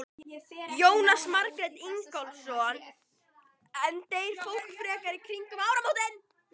Jónas Margeir Ingólfsson: En deyr fólk frekar í kringum áramótin?